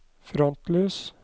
frontlys